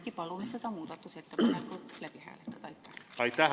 Me palume seda muudatusettepanekut hääletada.